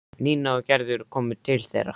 Nína og Gerður komu til þeirra.